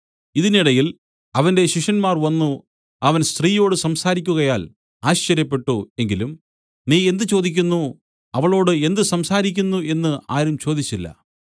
ഇതിനിടയിൽ അവന്റെ ശിഷ്യന്മാർ വന്നു അവൻ സ്ത്രീയോട് സംസാരിക്കുകയാൽ ആശ്ചര്യപ്പെട്ടു എങ്കിലും നീ എന്ത് ചോദിക്കുന്നു അവളോട് എന്ത് സംസാരിക്കുന്നു എന്നു ആരും ചോദിച്ചില്ല